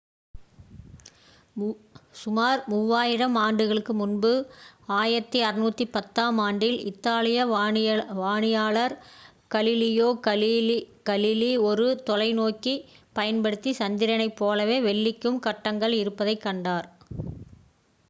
சுமார் மூவாயிரம் ஆண்டுகளுக்கு முன்பு 1610ஆம் ஆண்டில் இத்தாலிய வானியலாளர் கலிலியோ கலிலீ ஒரு தொலைநோக்கியைப் பயன்படுத்தி சந்திரனைப் போலவே வெள்ளிக்கும் கட்டங்கள் இருப்பதைக் கண்டார்